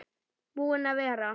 Búinn að vera.